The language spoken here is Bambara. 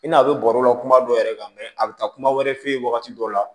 I n'a bɛ bɔrɔ la kuma dɔ yɛrɛ kan mɛ a bɛ taa kuma wɛrɛ f'i ye wagati dɔ la